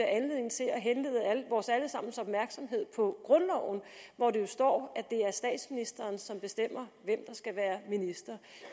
anledning til at henlede vores alle sammens opmærksomhed på grundloven hvori der står at det er statsministeren som bestemmer hvem der skal være minister